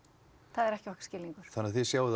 það er ekki okkar skilningur þannig að þið sjáið